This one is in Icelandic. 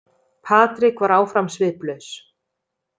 Patrik var áfram sviplaus.